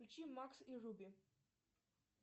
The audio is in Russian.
включи макс и руби